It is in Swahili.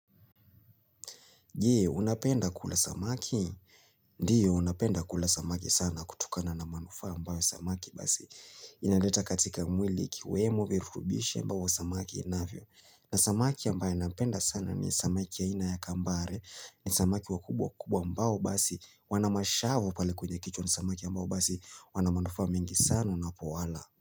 Je, unapenda kula samaki? Ndio, napenda kula samaki sana kutokana na manufaa ambayo samaki basi. Inaleta katika mwili ikiwemo virutubishi ambao samaki inavyo. Na samaki ambaye nampenda sana ni samaki aina ya kambare. Ni samaki wakubwa kubwa ambao basi wanamashavu pale kwenye kichwa ni samaki ambayo basi wanamanufaa mengi sana unapowala.